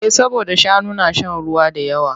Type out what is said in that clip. Eh saboda shanu na shan ruwa da yawa.